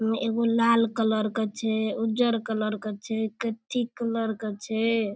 में एगो लाल कलर क छे उज्जर कलर क छे कथ्थी कलर क छे।